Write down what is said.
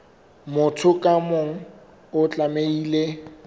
motho ka mong o tlamehile